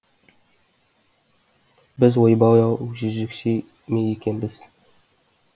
біз ойбай ау жезөкше ме екенбіз